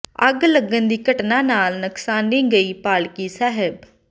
ਅੱਗ ਲੱਗਣ ਦੀ ਘਟਨਾ ਨਾਲ ਨਕਸਾਨੀ ਗਈ ਪਾਲਕੀ ਸਾਹਿਬ